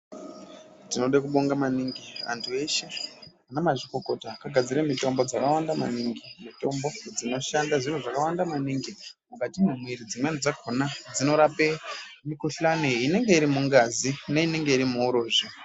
Tinode ku bonga maningi antu eshe ana mazvikokota aka gadzire mitombo dzaka wanda maningi mitombo dzino shanda zviro zvakawanda maningi mukati ma mwiri dzedu dzimweni dzakona dzino rape mikuhlani inonge iri mungazi imweni inenge irimu urozvi.